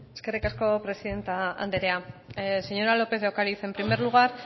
eskerrik asko presidente anderea señora lópez de ocariz en primer lugar